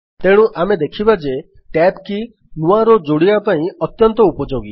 ତେଣୁ ଆମେ ଦେଖିବା ଯେ Tab କୀ ନୂଆ ରୋ ଯୋଡ଼ିବା ପାଇଁ ଅତ୍ୟନ୍ତ ଉପଯୋଗୀ